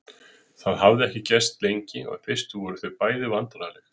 Það hafði ekki gerst lengi og í fyrstu voru þau bæði vandræðaleg.